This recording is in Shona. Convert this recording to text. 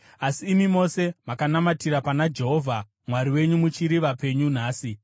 Asi imi mose makanamatira pana Jehovha Mwari wenyu muchiri vapenyu nhasi.